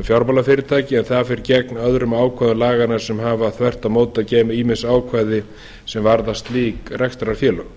um fjármálafyrirtæki en það fer gegn öðrum ákvæðum laganna sem hafa þvert á móti að geyma ýmis ákvæði er varða slík rekstrarfélög